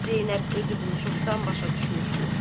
Zeynəb özü bunu çoxdan başa düşmüşdü.